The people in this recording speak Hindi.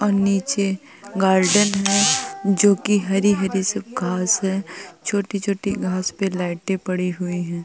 और नीचे गार्डन है जो की हरी-हरी सब घाँस है छोटी-छोटी घाँस पे लाइटे पड़ी हुई हैं।